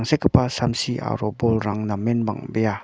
samsi aro bolrang namen bang·bea.